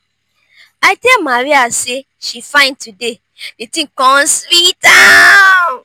i tell maria say she fine today the thing come sweet am